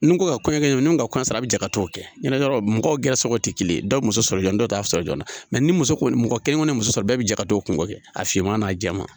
Ni ko ka kɔɲɔ kɛ ɲɔgɔn ka kɔɲɔ sɔrɔ a bi jaa ka t'o kɛ ɲɛnɛ yɔrɔ mɔgɔw gɛrɛ sɔrɔ tɛ kelen ye dɔw bɛ muso sɔrɔ jɔn dɔ t'a sɔrɔ joona ni muso kelen kɔni ye muso sɔrɔ bɛɛ bɛ jɛ ka don o kungo kɛ a finman n'a jɛman